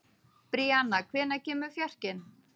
Bríanna, hvenær kemur fjarkinn?